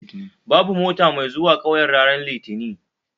Babu mota mai zuwa 'kauyen ranar litinin